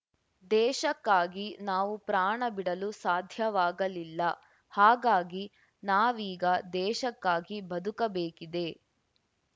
ದೇಶಕ್ಕಾಗಿ ನಾವು ಪ್ರಾಣ ಬಿಡಲು ಸಾಧ್ಯವಾಗಲಿಲ್ಲ ಹಾಗಾಗಿ ನಾವೀಗ ದೇಶಕ್ಕಾಗಿ ಬದುಕಬೇಕಿದೆ